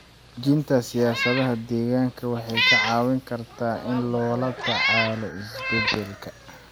Dejinta siyaasadaha deegaanka waxay ka caawin kartaa in loola tacaalo isbeddelka.